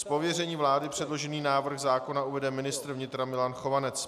Z pověření vlády předložený návrh zákona uvede ministr vnitra Milan Chovanec.